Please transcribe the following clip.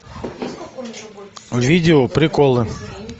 видео приколы